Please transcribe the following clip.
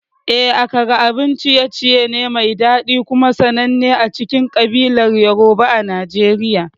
Eh, Akara abun ciye-ciye ne mai daɗi kuma sananne a cikin kabilar Yoruba a Najeriya.